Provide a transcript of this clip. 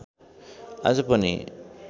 आज पनि